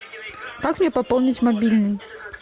как мне пополнить мобильный